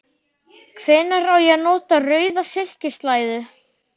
Hvenær á ég að nota rauða silkislæðu?